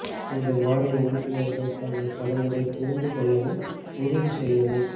உங்கள் வாரிய உறுப்பினர்கள் தங்கள் கடமைகளை புரிந்து கொள்ளவும் உறுதி செய்யவும்